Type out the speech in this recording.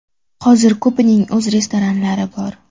Hozir ko‘pining o‘z restoranlari bor.